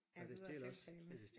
Er videre tiltalende